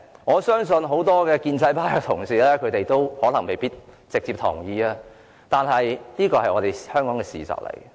我相信很多建制派同事未必直接同意這點，但這是香港的事實。